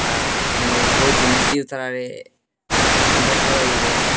আর জিনিস দিয়েও তারা ইনভাইট হইবো।